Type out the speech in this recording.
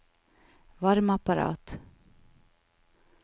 varmeapparat